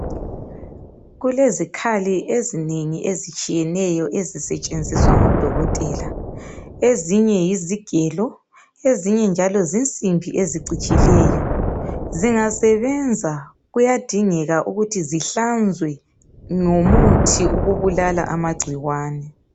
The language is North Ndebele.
Kulezikhali ezinengi ezitshiyeneyo ezisetshenziswa ngodokotela, ezinye yizigelo ezinye njalo zinsimbi ezicijileyo. Zingasebenza kuyadingeka ukuthi zihlanzwe ngomuthi wokubulala amagcikwane.